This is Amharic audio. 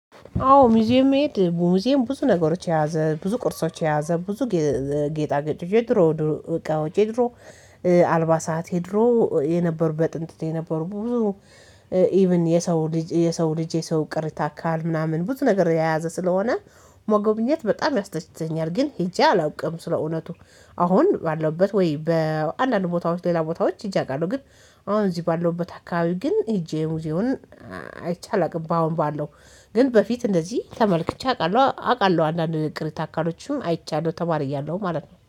አዎ ሙዚየም መሄድ ሙዚየም ብዙ ነገሮች የያዘ ብዙ ቅርሶች የያዘ ብዙ ጌጣ ጌጦች የድሮ እቃወች የድሮ አልባሳት የድሮ የነበሩ በጥንት የነበሩ ብዙ ኢቭን የሰው ልጅ የሰው ልጅ የሰው ቅሪተ አካል ምናምን ብዙ ነገር የያዘ ስለሆነ መጎብኘት በጣም ያስደስተኛል ግን ሄጄ አላውቅም። ስለእውነቱ አሁን ባለውበት ወይ በአንዳንድ ቦታዎች ሌላ ቦታዎች ሄጄ አውቃለሁ ግን አሁን እዚህ ባለውበት አካባቢ ግን ሄጄ ሙዚዬውን አይቼ አላውቅም። በአሁን ባለው ግን በፊት እንደዚህ ተመልክቼ አውቃለሁ አውቃለሁ አንዳንድ ቅርታ አካሎችም አይቻለሁ ተማሪ እያለሁ ማለት ነው